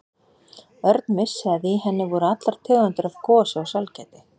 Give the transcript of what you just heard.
Örn vissi að í henni voru allar tegundir af gosi og sælgæti.